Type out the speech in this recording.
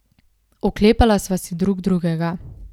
Oklepala sva se drug drugega.